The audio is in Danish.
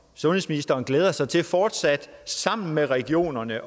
sundhedsministeren glæder sig til fortsat sammen med regionerne at